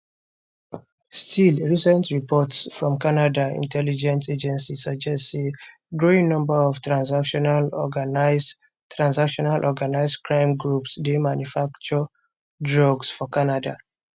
still recent reports from canada intelligence agencies suggest say growing number of transnational organised transnational organised crime groups dey manufacture drugs for canada